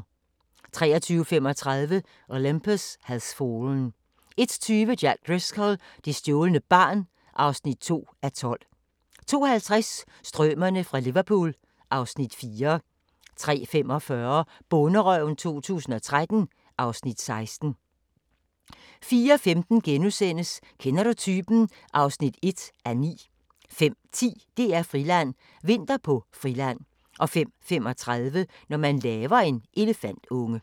23:35: Olympus Has Fallen 01:20: Jack Driscoll – det stjålne barn (2:12) 02:50: Strømerne fra Liverpool (Afs. 4) 03:45: Bonderøven 2013 (Afs. 16) 04:15: Kender du typen? (1:9)* 05:10: DR-Friland: Vinter på Friland 05:35: Når man laver en elefantunge